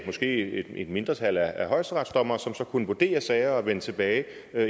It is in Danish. måske et mindretal af højesteretsdommere som så kunne vurdere sagerne og vende tilbage